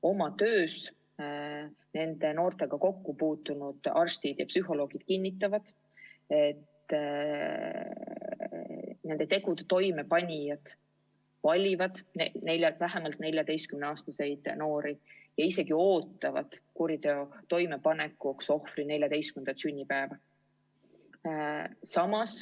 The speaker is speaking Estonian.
Oma töös nende noortega kokku puutunud arstid ja psühholoogid kinnitavad, et nende tegude toimepanijad valivad vähemalt 14-aastaseid noori ja isegi ootavad kuriteo toimepanekuks ohvri 14. sünnipäeva.